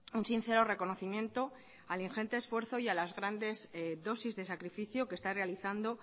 un sincero reconocimiento al ingente esfuerzo y a las grandes dosis de sacrificio que está realizando